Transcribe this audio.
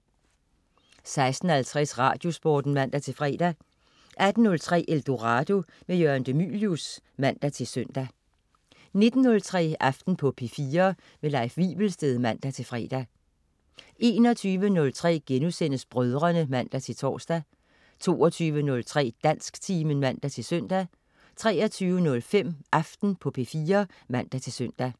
16.50 Radiosporten (man-fre) 18.03 Eldorado. Jørgen de Mylius (man-søn) 19.03 Aften på P4. Leif Wivelsted (man-fre) 21.03 Brødrene* (man-tors) 22.03 Dansktimen (man-søn) 23.05 Aften på P4 (man-søn)